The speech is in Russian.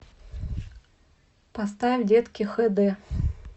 поставь детки хд